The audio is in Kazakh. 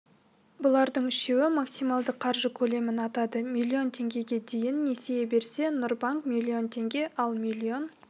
бұлардың үшеуі максималды қаржы көлемін атады миллион теңгеге дейін несие берсе нұрбанк миллион теңге ал миллион